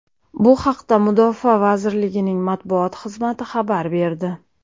Bu haqda Mudofaa vazirligining matbuot xizmati xabar berdi.